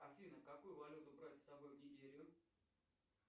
афина какую валюту брать с собой в нигерию